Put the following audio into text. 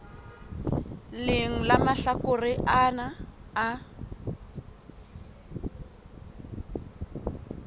leng la mahlakore ana a